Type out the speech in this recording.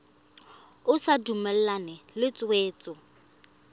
o sa dumalane le tshwetso